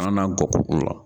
An na k'o la.